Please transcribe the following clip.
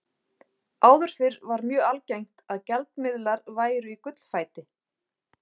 Áður fyrr var mjög algengt að gjaldmiðlar væru á gullfæti.